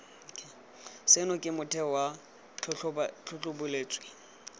seno ke motheo wa tlhatlhobotsweledi